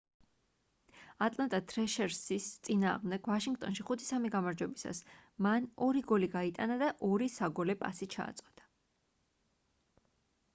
ატლანტა თრეშერსის წინააღმდეგ ვაშინგტონში 5-3 გამარჯვებისას მან 2 გოლი გაიტანა და 2 საგოლე პასი ჩააწოდა